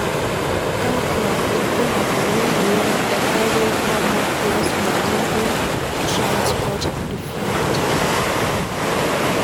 kakwa ilbulabul lemoyian eThyroid hormone plasma membrane transport defect?